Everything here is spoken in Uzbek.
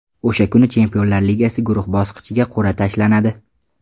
O‘sha kuni Chempionlar Ligasi guruh bosqichiga qur’a tashlanadi.